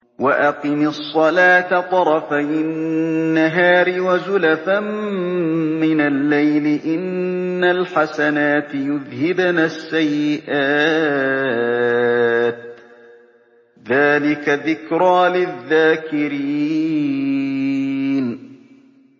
وَأَقِمِ الصَّلَاةَ طَرَفَيِ النَّهَارِ وَزُلَفًا مِّنَ اللَّيْلِ ۚ إِنَّ الْحَسَنَاتِ يُذْهِبْنَ السَّيِّئَاتِ ۚ ذَٰلِكَ ذِكْرَىٰ لِلذَّاكِرِينَ